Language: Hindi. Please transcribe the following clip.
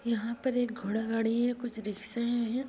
यहाँ पर एक घोड़ा गाड़ी है कुछ रिक्शे हैं।